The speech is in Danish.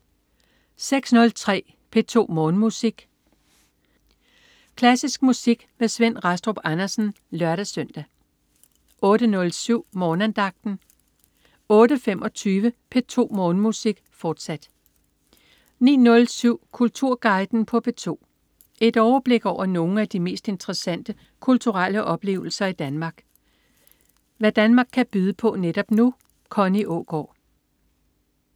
06.03 P2 Morgenmusik. Klassisk musik med Svend Rastrup Andersen (lør-søn) 08.07 Morgenandagten 08.25 P2 Morgenmusik, fortsat 09.07 Kulturguiden på P2. Et overblik over nogle af de mest interessante kulturelle oplevelser Danmark kan byde på netop nu. Connie Aagaard